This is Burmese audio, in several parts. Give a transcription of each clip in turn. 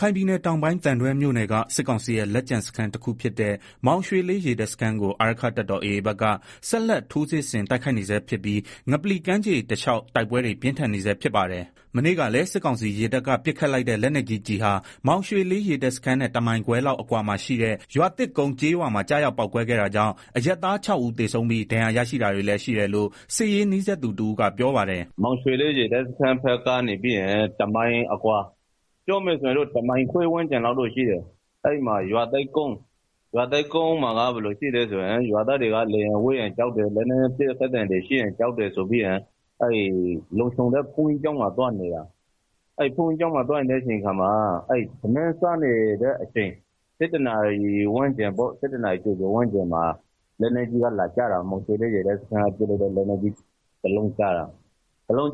ခိုင်ပြည်နယ်တောင်ပိုင်း သံတွဲမြို့နယ်က စစ်ကောင်စီရဲ့ လက်ကျန်စခန်းတခုဖြစ်တဲ့ မောင်ရွှေလေး ရေတပ်စခန်းကို အာရက္ခတပ်တော် AA ဘက်က ဆက်လက်ထိုး စစ်ဆင်တိုက် ခိုက်နေဆဲဖြစ်ပြီး ငပလီကမ်းခြေတလျှောက်တိုက်ပွဲတွေ ပြင်းထန်နေဆဲဖြစ်ပါတယ်။ မနေ့က လည်း စစ်ကောင်စီရေတပ်က ပစ်ခတ်လိုက်တဲ့လက်နက်ကြီးကျည်ဟာ မောင်ရွှေ လေး ရေတပ်စခန်းနဲ့ ၁မိုင်ခွဲလောက်အကွာမှာရှိတဲ့ ရွာသစ်ကုန်းကျေးရွာမှာ ကျရောက် ပေါက်ကွဲခဲ့ တာကြောင့် အရပ်သား ၆ ဦးသေဆုံးပြီး ဒဏ်ရာရရှိတာတွေလည်း ရှိတယ်လို့ စစ်ရေးနီးစပ်သူ တဦးကပြောပါတယ်။ “မောင်ရွှေလေး ရေတပ်စခန်းကနေ တမိုင်ခွဲလောက်အကွာမှာရှိတဲ့ ရွာသစ်ကုန်းမှာ ရွာသား တွေကို လေယာဉ်ဝဲရင်ကြောက်တယ် လက်နက်ကြီးပစ်ခတ်သံတွေ ရှိရင် ကြောက် တယ်ဆို ပြီး တော့ လုံခြုံမယ်ထင်ပြီးတော့ ဘုန်းကြီးကျောင်းမှာ သွားနေတာ၊ အဲဒီမှာ ထမင်း စားနေတဲ့ အချိန် ၁၂နာရီဝန်းကျင်ပေါ့ မောင်ရွှေလေး ရေတပ်စခန်းက ပစ်လိုက်တဲ့ လက်နက် ကြီးကျည် ကျပြီးတော့ ဘုန်းကြီး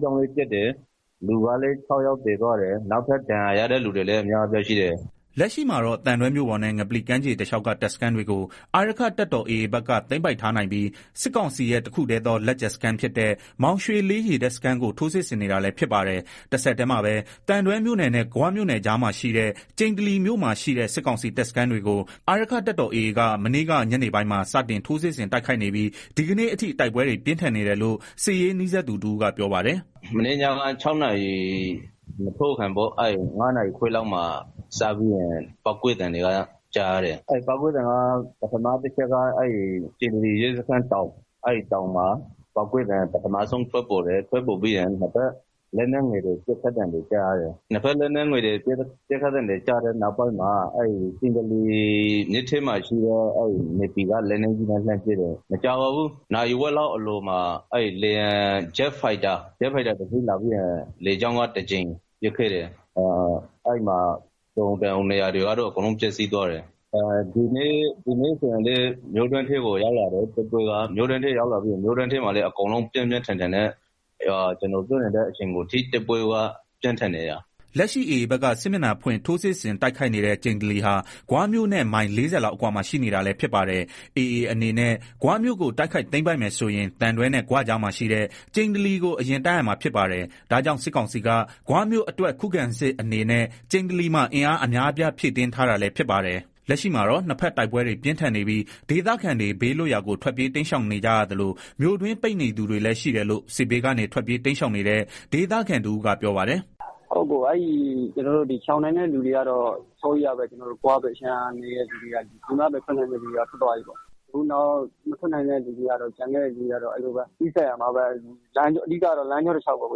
ကျောင်းလည်း ပျက်သွားတယ်၊ လူကလည်း ၆ယောက် သေသွားတယ် နောက်ထပ် ဒဏ်ရာရတဲ့ သူတွေလည်း အများအပြားရှိတယ်။” လက်ရှိမှာတော့ သံတွဲမြို့ပေါ်နဲ့ ငပလီကမ်းခြေတလျှောက်က တပ်စခန်းတွေကို အာရက္ခ တပ်တော်AAဘက်က သိမ်းပိုက်ထားနိုင်ပြီး စစ်ကောင်စီရဲ့ တခုတည်းသောလက် ကျန်စခန်းဖြစ်တဲ့ မောင်ရွှေလေးရေတပ်စခန်းကို ထိုးစစ်ဆင်နေတာလည်းဖြစ်ပါတယ်။ တဆက်တည်းမှာပဲ သံတွဲမြို့နယ် နဲ့ ဂွမြို့နယ်ကြား မှာရှိတဲ့ ကျိန္တလီမြို့မှာရှိတဲ့ စစ်ကောင်စီတပ်စခန်းတွေကို အာရက္ခတပ်တော်AAက မနေ့က ညနေပိုင်းမှာ စတင်ထိုးစစ်ဆင်တိုက်ခိုက်နေပြီး ဒီကနေ့အထိ တိုက်ပွဲတွေ ပြင်းထန်နေတယ်လို့ စစ်ရေးနီးစပ်သူတဦးကပြောပါတယ်။ “ မနေ့ညက ၆နာရီအထိုးခင် ၅နာရီခွဲလောက်မှာ စပြီးတော့ ပေါက်ကွဲသံတွေ ကြားရတယ်၊ ပထမတချက်ကတော့ ကျိန္တလီရဲစခန်းနားကတောင် ပေါက်ကွဲသံ ပမထဆုံးထွက်ပေါ်တယ်၊ ပြီးတော့ နှစ်ဘက် လက်ငယ်ပစ်ခတ်သံတွေ ကြားရတယ်၊ အဲဒီနောက်ပိုင်းမှာ ကျိန္တလီမြစ် ထဲမှာရှိတဲ့ နေဗီက လက်နက်ကြီးနဲ့ လှမ်းပစ်တယ်။ မကြာဘူး ဂျက်ဖိုက်တာ တစီးလာပြီးတော့ ပစ်တယ် အဲဒီမှာနေရာ တော်တော်များများ ပျက်စီးသွားတယ်၊ ဒီနေ့မှာ တော့ တိုက်ပွဲက မြို့တွင်းကို ရောက်လာတယ်၊ တိုက်ပွဲက ပြင်းပြင်းထန် ထန်ဖြစ် နေတယ်။” လက်ရှိ AA ဘက်က စစ်မျက်နှာဖွင့် ထိုးစစ်ဆင်တိုက်ခိုက်နေတဲ့ ကျိန္တလီဟာ ဂွမြို့နဲ့ မိုင် ၄ဝလောက်အကွာရှိနေ တာလည်းဖြစ်ပါ တယ်။ AAအနေနဲ့ ဂွမြို့ကို တိုက်ခိုက်သိမ်းပိုက်မယ်ဆိုရင် သံတွဲနဲ့ ဂွကြားမှာရှိတဲ့ ကျိန္တလီ ကို အရင်တိုက်ရမှာဖြစ်ပါတယ်။ ဒါကြောင့် စစ်ကောင်စီက ဂွမြို့အတွက်ခုခံစစ်အနေနဲ့ ကျိန္တလီမှာ အင်အားအများ အပြားဖြည့် တင်းထားတာလည်းဖြစ်ပါတယ်။ လက်ရှိမှာတော့ နှစ်ဘက်တိုက်ပွဲတွေ ပြင်းထန်နေပြီး ဒေသခံတွေ ဘေးလွတ်ရာကို ထွက် ပြေးတိမ်းရှောင်နေကြရသလို မြို့တွင်းပိတ်နေသူတွေလည်းရှိတယ်လို့ စစ်ဘေးကနေ ထွက်ပြေးတိမ်း ရှောင်နေတဲ့ ဒေသခံတဦးကပြောပါတယ်။ “ ကျနော်တို့ ရှောင်နို်င်တဲ့ သူတွေကတော့ ဂွဘက်အခြမ်းမှာနေတဲ့သူတွေက ပြည်မဘက် ထွက်နိုင်တဲ့သူတွေက ထွက်သွားပြီပေါ့၊ နောက် မထွက်နိုင်တဲ့သူတွေကတော့ နီးစပ်ရာမှာပဲ အဓိကတော့ လမ်းကြောတလျောက်ပေါ့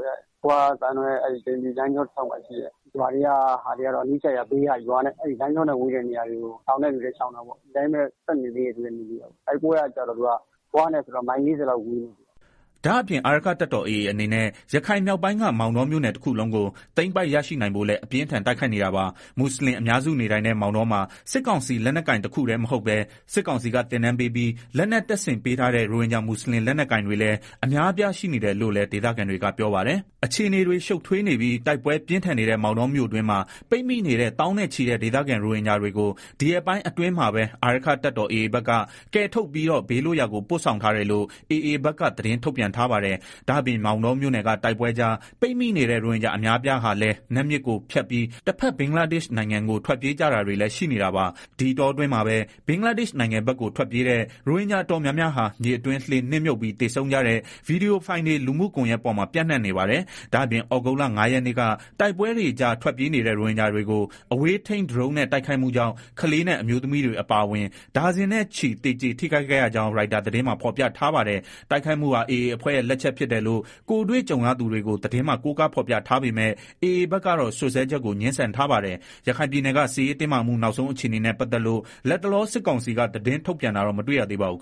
ဂွ သံတွဲ ကျိန္တလီ လမ်းကြောတလျောက်မှာရှိတဲ့ ရွာတွေက ဒေသခံတွေကတော့ လမ်းကြောနဲ့ ဝေးတဲ့နေရာတွေကို ရှောင်ကြတယ်။ ဒီအတိုင်း ပဲ ဆက်နေတဲ့သူတွေလည်းရှိတယ်။ တိုက်ပွဲကတော့ ဂွနဲ့ဆိုရင် မိုင် ၄ဝလောက်ဝေး သေး တာပေါ့။” ဒါ့အပြင် အာရက္ခတပ်တော်AAအနေနဲ့ ရခိုင်မြောက်ပိုင်းက မောင်တောမြို့နယ်တခုလုံးကို သိမ်းပိုက်ရရှိနိုင်ဖို့လည်း အပြင်းအထန်တိုက်ခိုက်နေတာပါ။ မွတ်ဆလင်အများစုနေထိုင်တဲ့ မောင်တောမှာ စစ်ကောင်စီ လက်နက်ကိုင်တခုတည်းမဟုတ်ပဲ စစ်ကောင်စီက သင်တန်းပေးပြီး လက်နက်တပ် ဆင်ပေး ထားတဲ့ ရိုဟင်ဂျာ မွတ်ဆလင်လက်နက်ကိုင်တွေလည်း အများအပြား ရှိနေတယ်လို့လည်း ဒေသခံတွေက ပြောပါတယ်။ အခြေအနေတွေ ရှုပ်ထွေးနေပြီး တိုက်ပွဲပြင်းထန်နေတဲ့မောင်တောမြို့တွင်းမှာ ပိတ်မိနေတဲ့သောင်းနဲ့ချီတဲ့ဒေသခံရိုဟင်ဂျာတွေကို ဒီရက်ပိုင်းအတွင်းမှာာပဲ အာရက္ခတပ် တော်AAဘက်က ကယ်ထုတ်ပြီးတော့ ဘေးလွတ်ရာကို ပို့ဆောင်ထားတယ်လို့ AAဘက်က သတင်း ထုတ်ပြန်ထားပါတယ်။ ဒါ့အပြင် မောင်တောမြို့နယ်က တိုက်ပွဲတွေကြား ပိတ်မိနေတဲ့ ရိုဟင်ဂျာ အများအပြားဟာလည်းနတ်မြစ်ကိုဖြတ်ပြီး တဘက် ဘင်္ဂလားဒေရှ့်နိုင်ငံက ထွက်ပြေးကြတာတွေလည်းရှိနေတာပါ။ ဒီအတောအတွင်းမှာပဲ ဘင်္ဂလားဒေရှ့်နိုင်ငံဘက်ကို ထွက်ပြေးတဲ့ ရိုဟင်ဂျာ တော်များများ မြစ်တွင်းလှေမြုပ်ပြီးသေဆုံးကြတဲ့ Vedio Fileတွေ လူမှူကွန်ယှက် ပေါ်မှာပြန့်နှံ့ နေပါတယ်။ ဒါအပြင် သြဂုတ်လ ရက်နေ့က တိုက်ပွဲတွေကြား ထွက်ပြေးနေတဲ့ ရိုဟင်ဂျာတွေကို အဝေးထိန်းဒရုန်းနဲ့ တိုက်ခိုက်မှုကြောင့် ကလေးနဲ့အမျိုးသမီးတွေ အပါအဝင် ဒါဇင်နဲ့ချီ သေကျေထိခိုက်ခဲ့ရကြောင်း Reuters သတင်းမှာ ဖေါ်ပြထားပါတယ်။ တိုက်ခိုက်မှုဟာ AA အဖွဲ့ရဲ့ လက်ချက်ဖြစ်တယ်လို့ ကိုယ်တွေ့ကြုံရသူ တွေကို သတင်းမှာ ကိုးကားဖေါ်ပြထားပေမဲ့ AA ဘက်ကတော့ စွပ်စွဲချက်ကို ငြင်းဆန်ထားပါတယ်။ ရခိုင်ပြည်နယ်က စစ်ရေးတင်းမာမှု နောက်ဆုံးအခြေအနေနဲ့ ပတ်သက်လို့ လတ်တလော စစ်ကောင်စီက သတင်းထုတ်ပြန်တာတော့ မတွေ့ရသေးပါဘူး